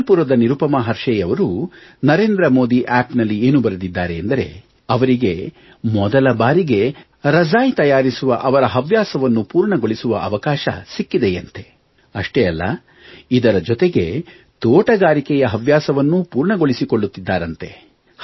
ಜಬಲ್ಪುರದ ನಿರುಪಮಾ ಅವರು ನಮೋ ಅಪ್ ಏನು ಬರೆದಿದ್ದಾರೆ ಎಂದರೆ ಅವರಿಗೆ ಮೊದಲ ಬಾರಿಗೆ ರಜಾಯಿ ತಯಾರಿಸುವ ಅವರ ಹವ್ಯಾಸವನ್ನು ಪೂರ್ಣಗೊಳಿಸಿಕೊಳ್ಳುವ ಅವಕಾಶ ಸಿಕ್ಕಿದೆಯಂತೆ ಇದರ ಜೊತೆಗೆ ತೋಟಗಾರಿಕೆಯ ಹವ್ಯಾಸವನ್ನೂ ಪೂರ್ಣಗೊಳಿಸಿಕೊಳ್ಳುತ್ತಿದ್ದಾರಂತೆ